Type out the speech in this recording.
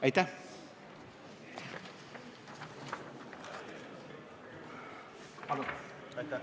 Aitäh!